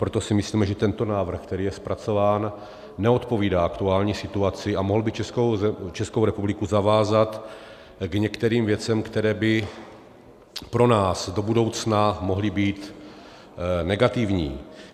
Proto si myslíme, že tento návrh, který je zpracován, neodpovídá aktuální situaci a mohl by Českou republiku zavázat k některým věcem, které by pro nás do budoucna mohly být negativní.